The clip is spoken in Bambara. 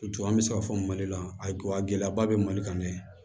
Ju an be se ka fɔ mali la a gɛlɛyaba be mali kan dɛ